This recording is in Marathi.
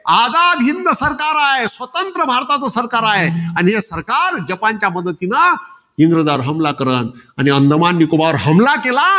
आझाद हिंद सरकार आहे. स्वतंत्र भारताचं सरकार आहे. आणि हे सरकार जपानच्या मदतीनं इंग्रजांवर हमला करन. अन अंदमान निकोबार हमला केला.